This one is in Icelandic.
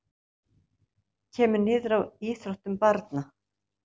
Kemur niður á íþróttum barna